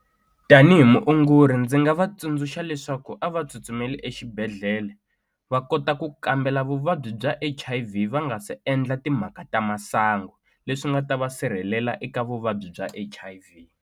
Tanihi muongori ndzi nga va tsundzuxa leswaku a va tsutsumeli exibedhlele va kota ku kambela vuvabyi bya H_I_V va nga se endla timhaka ta masangu leswi nga ta va sirhelela eka vuvabyi bya H_I_V.